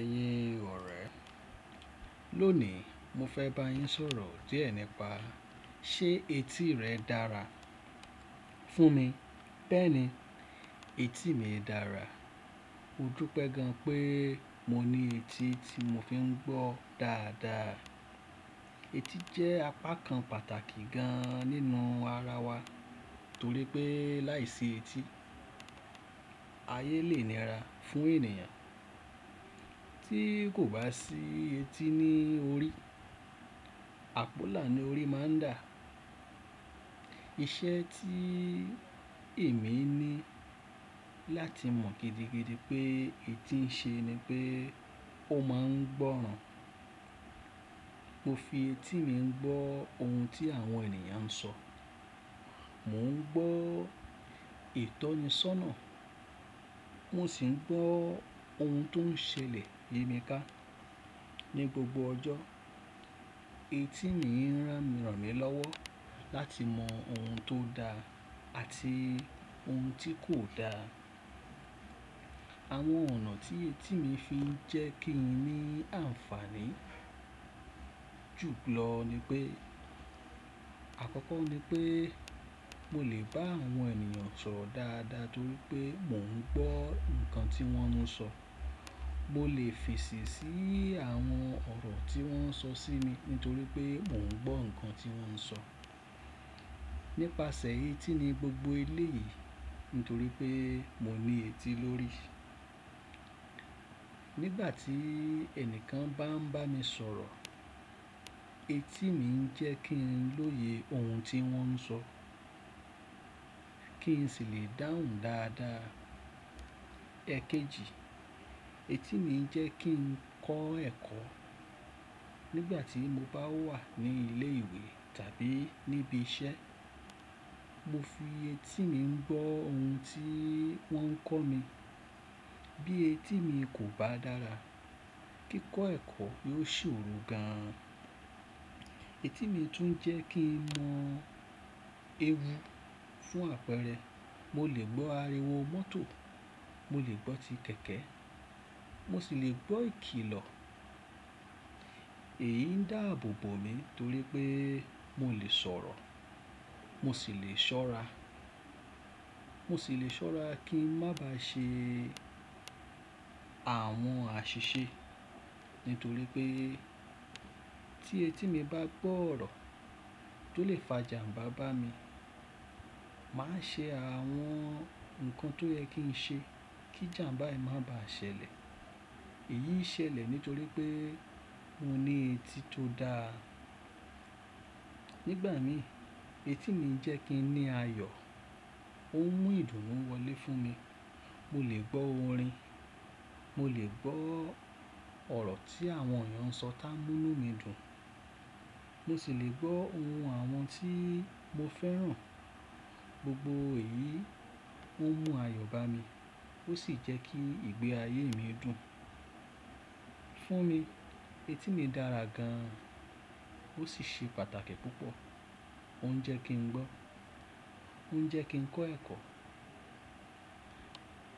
Ẹ̀yin ọ̀rẹ́, lónìí mo fẹ́ bá yín sọ̀rọ̀ díẹ̀ nípa ṣe etí rẹ dára fún mi? Bẹ́ẹ̀ni, etí mi dára. Mo dúpẹ́ gan an pé mo ní etí tí mo fi ń gbọ́ dáadáa. Etí jẹ́ apakan pàtàkì gan an nínú ara wa nítorí pé láìsí etí, ayé lè níra fún ènìyàn. Tí kò bá sí etí ní orí, àpọ́là ni orí má a ń dà. Iṣẹ́ tí èmi ní láti mọ̀ gidigidi pé etí ń ṣe ni pé ó máa ń gbọ́ràn. Mo fi etí mi ń gbọ́ ohun tí àwọn ènìyàn ń sọ Mò ń gbọ́ ìtọ́nisọ́nà, mò sì ń gbọ́ ohun tó ń ṣẹlẹ̀ yímiká ní gbogbo ọjọ́. Etí mi ń rán mi ràn mí lọ́wọ́ láti mọ ohun tó da àti ohun tí kò da. Àwọn ọ̀nà tí etí mi fi ń jẹ́ kí n ní ànfàní jù lọ ni pé àkọ́kọ́ ni pé mo lè bá àwọn ènìyàn sọ̀rọ̀ dáadáa torí pé mò ń gbọ́ nǹkan tí wọ́n ń sọ Mo lè fèsì sí àwọn ọ̀rọ̀ tí wọ́n ń sọ sí mi nítorí pé mò ń gbọ́ nǹkan tí wọ́n ń sọ Nípasẹ̀ etí ni gbogbo eléyìí nítorí pé mo ní etí lórí. Nígbà tí ẹni kan bá ń bá mi sọ̀rọ̀, etí mi ń jẹ́ kí n lóye ohun tí wọ́n ń sọ, kí n sì lè dáhùn dáadáa. Ẹ̀kẹjì, etí mi ń jẹ́ kí n kọ́ ẹ̀kọ́. Nígbà tí mo bá wà ní ilé ìwé tàbí níbi iṣẹ́, mo fi etí mi ń gbọ́ ohun tí wọ́n ń kọ́ mi. Bí etí mi kò bá dára, kíkọ́ ẹ̀kọ́ yó sòro gan an. Etí mi tún ń jẹ́ kí n mọ ewu fún àpẹẹrẹ, mo lè gbọ́ ariwo mọ́tò, mo lè gbọ́ ti kẹ̀kẹ́, mo sì lè gbọ́ ìkilọ̀. Èyí ń dáàbò bo mi torí pé mo lè sọ̀rọ̀, mo sì lè ṣọ́ra. Mo sì lè ṣọ́ra kí ń má bá ṣe àwọn àṣìṣe nítorí pé tí etí mi bá gbọ́ ọ̀rọ̀ tó lè fa ìjàmbá bá mi, màá ṣe àwọn ǹkan tó yẹ kí n ṣe kí ìjàmbá yìí má ba ṣẹlẹ̀. Èyí ṣẹlẹ̀ nítorí pé mo ní etí tó da. Nígbà mi, etí mi ń jẹ́ kí n ní ayọ̀, ó ń mú ìdùnnú wọlé fún mi. Mo lè gbọ́ orin, mo lè gbọ́ ọ̀rọ̀ tí àwọn ènìyàn ń sọ tá mú nú mi dùn, mo sì lè gbọ́ ohùn àwọn tí mo fẹ́ràn. Gbogbo èyí ó ń mú ayọ̀ bá mi ó sì jẹ́ kí ìgbé ayé mi dùn. Fún mi etí mi dára gan an ó sì ṣe pàtàkì púpọ̀. Ó ń jẹ́ kí n gbọ́, ó ń jẹ́ kí n kọ́ ẹ̀kọ́,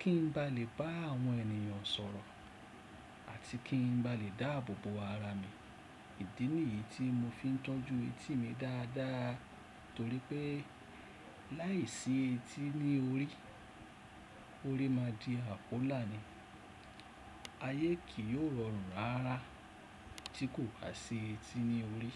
kí n bá lè bá àwọn ènìyàn sọ̀rọ̀ àti kí n bá lè dáàbò bo ara mi. Ìdí nìyí tí mo fi ń tọ́jú etí mi dáadáa torí pé láìsí etí ní orí, orí máa di àpọ́là ni. Ayé kì yóò rọrùn rara tí kò bá sí etí ní orí.